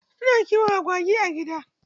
Ina kiwon agwagi a gida.